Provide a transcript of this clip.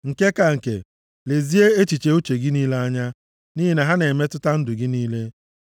Nke ka nke, lezie echiche uche gị niile anya, nʼihi na ha na-emetụta ndụ gị niile.